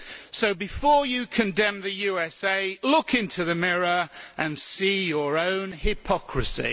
So, before you condemn the USA, look in the mirror and see your own hypocrisy.